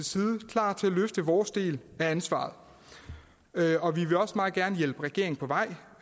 side klar til at løfte vores del af ansvaret og vi vil også meget gerne hjælpe regeringen på vej